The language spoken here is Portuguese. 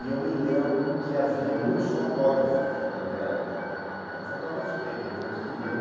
E eu me lembro que havia muitos fotógrafos na livraria, fotógrafos que evidentemente queriam